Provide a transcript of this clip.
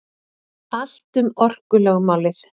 Allt um orkulögmálið.